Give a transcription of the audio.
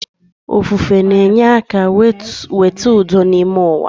Ofufe na-enye aka weta udo n’ime uwa